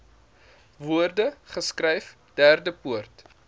woorde geskryf derdepoort